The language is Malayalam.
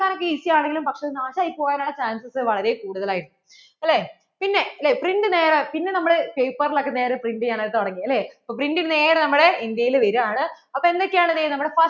easy ആണെങ്കിലും പക്ഷേ നാശം ആയി പോകാൻ ഉള്ള chances വളരെ കൂടുതൽ ആയിരുന്നു അല്ലേ പിന്നെ print നേരേ പിന്നെ നമ്മൾ paper ൽ ഒക്കെ നേരേ print ചെയ്യാൻ ആയി തുടങ്ങി അല്ലേ അപ്പോൾ print നേരേ നമ്മടെ India യിൽ വരുവാണ് അപ്പോൾ എന്തൊക്കെ ആണ് ദേ നമ്മുടെ